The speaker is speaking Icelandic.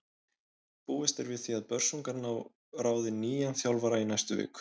Búist er við því að Börsungar ráði nýjan þjálfara í næstu viku.